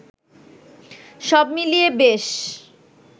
সব মিলিয়ে বেশ